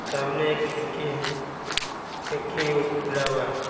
सामने एक खिड़की है खिड़की जो खुला हुआ है।